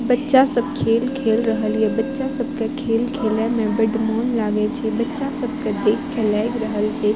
बच्चा सब खेल खेल रहल ये बच्चा सब के खेल खेले में बड मोन लागय छै बच्चा सबके देख के लाग रहल छै।